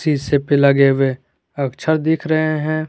इसे पहले आगे हमे अक्षर दिख रहे है।